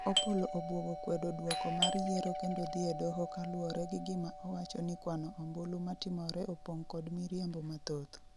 Opollo obwogo kwedo dwoko mar yiero kendo dhi e doho koluwore gi gima owacho ni kwano ombulu matimore opong' kod miriambo mathoth